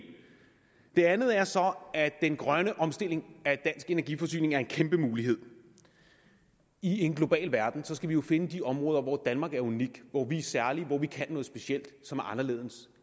det andet er så at den grønne omstilling af dansk energiforsyning er en kæmpe mulighed i en global verden skal vi jo finde de områder hvor danmark er unikt hvor vi er særlige hvor vi kan noget specielt som er anderledes